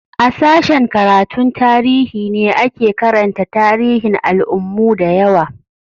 A sashen karatun tarihi ne ake karanta tarihin al'ummu da yawa